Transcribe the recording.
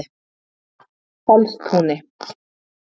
Fellstúni